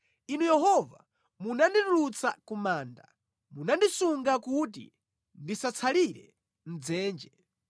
Inu Yehova, munanditulutsa ku manda, munandisunga kuti ndisatsalire mʼdzenje.